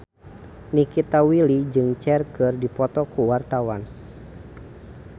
Nikita Willy jeung Cher keur dipoto ku wartawan